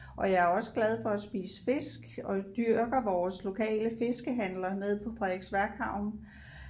Og jeg er også glad for at spise fisk og dyrker vores lokale fiskehandler nede på Frederiksværk havn